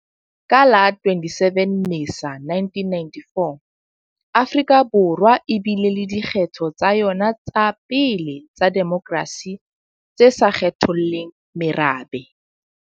Ka la 27 Mmesa 1994, Afrika Borwa e bile le dikgetho tsa yona tsa pele tsa demokrasi tse sa kgetholleng merabe.